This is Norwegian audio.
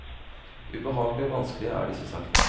Ubehagelige og vanskelige er disse sakene.